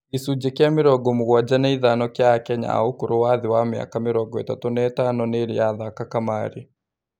Gĩcunjĩ kĩa mĩrongo mũgwanja na ithano kĩa akenya a ũkũrũ wa thĩ ya mĩaka mĩrongo ĩtatũ na ĩtano nĩĩrĩ yathaka kamarĩ.